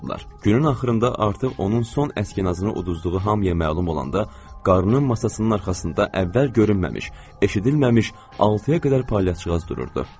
Günun axırında artıq onun son əsginasını uduzduğu hamıya məlum olanda, qarının masasının arxasında əvvəl görünməmiş, eşidilməmiş altıya qədər palyaçıqaz dururdu.